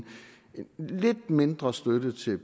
lidt mindre støtte til